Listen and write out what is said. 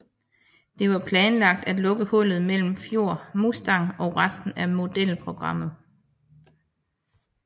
Det var planlagt at lukke hullet mellem Ford Mustang og resten af modelprogrammet